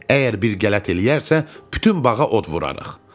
Əgər bir qələt eləyərsə, bütün bağa od vurarıq.